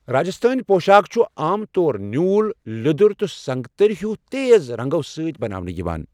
راجستھٲنۍ پۄشاكھ چھ عام طور نیوٗل، لیٛوٚدر تہٕ سنگتٔرۍ ہیُو تیز رنٛگو سۭتۍ بناونہٕ یوان